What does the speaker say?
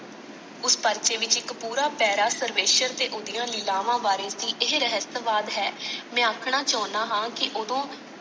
ਉਸ ਪਰਚੇ ਵਿਚ ਇਕ ਪੂਰਾ ਪੈਰਾ ਸਰਵੇਸ਼ਰ ਤੇ ਓਹਦੀਆਂ ਲੀਲਾਵਾਂ ਵਾਰੇ ਸੀ ਇਹ ਰਹੇਸਯਵਾਦ ਹੈ।